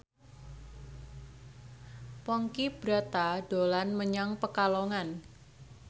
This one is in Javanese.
Ponky Brata dolan menyang Pekalongan